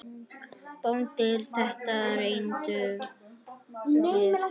BÓNDI: Þetta reyndum við!